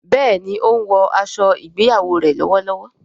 béèni o ń wò aṣọ ìgbéyàwó rẹ lówó lówó.